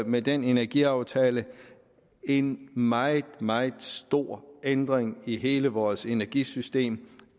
med den energiaftale en meget meget stor ændring i hele vores energisystem